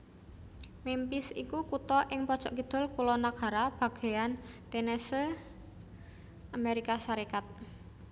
Memphis iku kutha ing pojok kidul kulonnagara bagéyan Tennessee Amérika Sarékat